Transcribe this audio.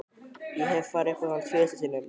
Ég hef farið upp í hann tvisvar sinnum.